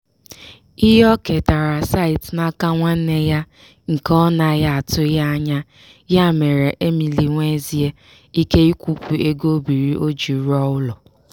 ihe o ketara site n'aka nwanne nne ya nke ọ na-atụghị anya ya mere emily nwezie ike ịkwụpụ ego o biiri o ji rụọ ụlọ.